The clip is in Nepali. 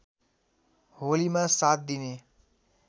होलीमा ७ दिने